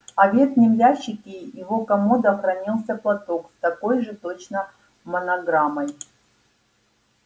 а в верхнем ящике его комода хранился платок с такой же точно монограммой